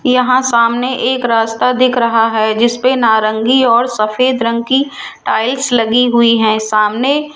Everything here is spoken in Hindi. यहां सामने एक रास्ता दिख रहा है जिसपे नारंगी और सफेद रंग की टाइल्स लगी हुई है सामने --